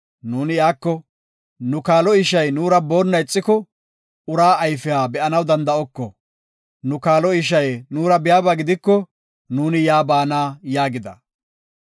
nuuni iyako, ‘Nu kaalo ishay nuura boonna ixiko, ura ayfiya be7anaw danda7oko. Nu kaalo ishay nuura biyaba gidiko, nuuni yaa baana’ yaagida.